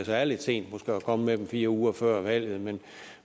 så er lidt sent at komme med dem fire uger før valget men